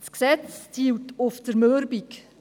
Das Gesetz zielt auf Zermürbung.